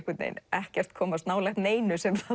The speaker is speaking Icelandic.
ekkert komast nálægt neinu sem